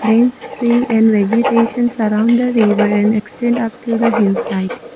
dence tree and vegetation surround the river and extent after the hillside.